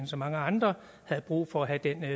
så mange andre har brug for at have den